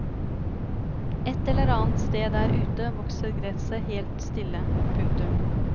Et eller annet sted der ute vokser gresset helt stille. punktum